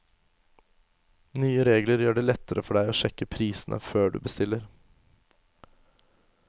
Nye regler gjør det lettere for deg å sjekke prisene før du bestiller.